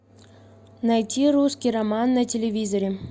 найти русский роман на телевизоре